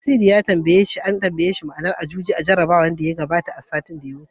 Nasidi ya ce an tambaye shi ma'anar Ajuji a jarabawar Hausa, satin da ya wuce.